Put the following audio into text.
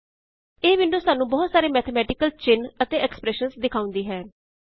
ਇਹ ਵਿੰਡੋ ਸਾਨੂੰ ਬਹੁਤ ਸਾਰੇ ਮੈਥੇਮੈਟਿਕਲ ਚਿੰਨ ਅਤੇ ਐਕ੍ਸਪ੍ਰੈੱਸ਼ਨਜ਼ ਵਿਖਾਉਂਦੀ ਹੈ